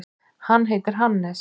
Hann heitir Hannes.